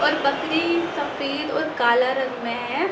और बकरी सफेद और काला रंग में है।